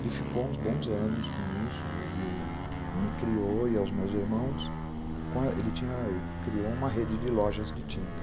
Ele ficou uns bons anos com isso, ele me criou e aos meus irmãos, ele criou uma rede de lojas de tinta.